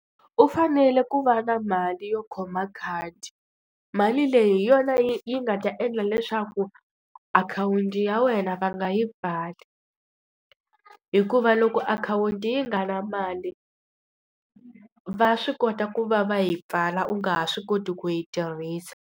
U fanele ku va na mali yo khoma khadi. Mali leyi hi yona yi yi nga ta endla leswaku akhawunti ya wena va nga yi pfali. Hikuva loko akhawunti yi nga ri na mali, va swi kota ku va va yi pfala u nga ha swi koti ku yi tirhisa.